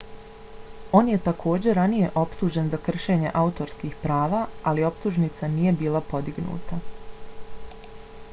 on je takođe ranije optužen za kršenje autorskih prava ali optužnica nije bila podignuta